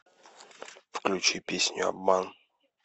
включи песню обман